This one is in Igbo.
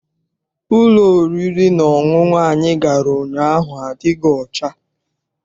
Ụlọ oriri na ọṅụṅụ anyị gara ụnyaahụ adịghị ọcha.